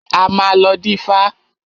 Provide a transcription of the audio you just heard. A máa lọ dífá.